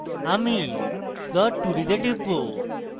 আমি plot2d তে টিপব